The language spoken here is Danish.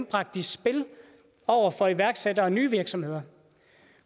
bragt i spil over for iværksættere og nye virksomheder